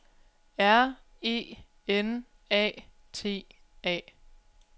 R E N A T A